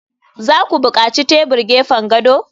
za ku buƙaci tebur gefen gado?